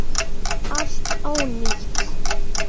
Allt ónýtt!